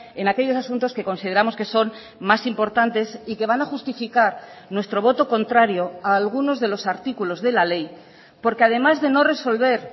en aquellos asuntos que consideramos que son más importantes y que van a justificar nuestro voto contrario a algunos de los artículos de la ley porque además de no resolver